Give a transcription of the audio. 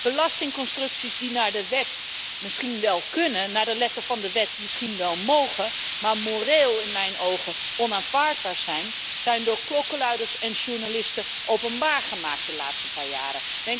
Belastingconstructies die volgens de wet misschien wel kunnen, naar de letter van de wet misschien wel mogen, maar moreel in mijn ogen onaanvaardbaar zijn, zijn door klokkenluiders en journalisten openbaar gemaakt de laatste paar jaren.